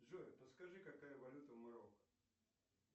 джой подскажи какая валюта в марокко